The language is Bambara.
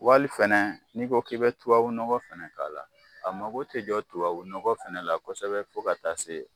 Wali fɛnɛ n'i ko k'i bi tubabu nɔgɔ fɛnɛ k'a la, a mago te jɔ tubabu nɔgɔ fɛnɛ la kosɛbɛ fo ka taa se